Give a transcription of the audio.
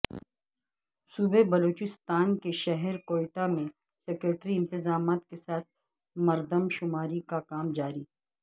صوبہ بلوچستان کے شہر کوئٹہ میں سکیورٹی انتطامات کے ساتھ مردم شماری کا کام جاری